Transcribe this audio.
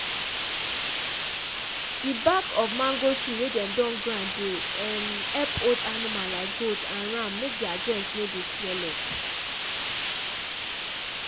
di bak of mango tree wey dem don grind dey um epp old anima like goat and ram make dia joint no dey swel up.